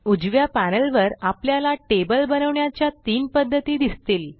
उजव्या पॅनेलवर आपल्याला टेबल बनवण्याच्या तीन पध्दती दिसतील